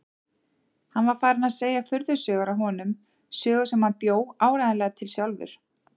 Hann var farinn að segja furðusögur af honum, sögur sem hann bjó áreiðanlega til sjálfur.